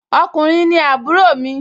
ọkùnrin ni àbúrò mi